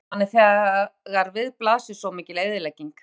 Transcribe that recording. En hvernig líður manni þegar við blasir svo mikil eyðilegging?